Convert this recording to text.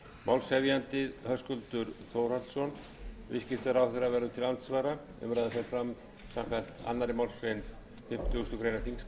málshefjandi er höskuldur þórhallsson hæstvirtur viðskiptaráðherra verður til andsvara umræðan fer fram samkvæmt annarri málsgrein fimmtugustu grein þingskapa